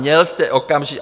Měl jste okamžitě...